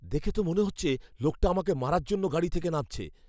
দেখে তো মনে হচ্ছে লোকটা আমাকে মারার জন্য গাড়ি থেকে নামছে!